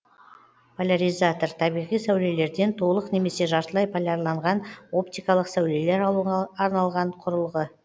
поляризатор табиғи сәулелерден толық немесе жартылай полярланған оптикалық сәулелер алуға арналған құрылғы